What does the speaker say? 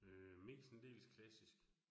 Øh mest en del klassisk